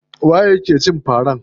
Waye ya ke cin fara?